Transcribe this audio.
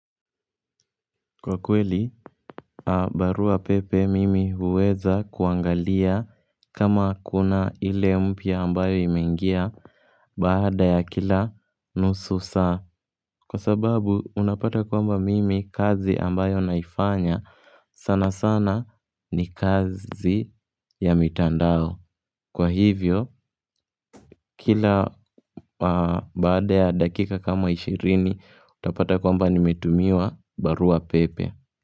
Kwa kweli, barua pepe mimi huweza kuangalia kama kuna ile mpya ambayo imeingia baada ya kila nusu saa. Kwa sababu, unapata kwamba mimi kazi ambayo naifanya sana sana ni kazi ya mitandao. Kwa hivyo, kila baada ya dakika kama 20, utapata kwamba nimetumiwa barua pepe.